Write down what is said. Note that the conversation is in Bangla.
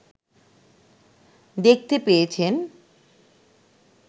দেখতে পেয়েছেন